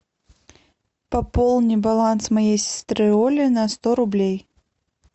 пополни баланс моей сестры оли на сто рублей